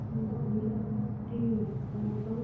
hotel --